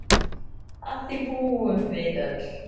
Að því búum við öll.